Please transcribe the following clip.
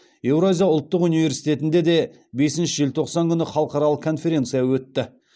еуразия ұлттық университетінде де бесінші желтоқсан күні халықаралық конференция өтті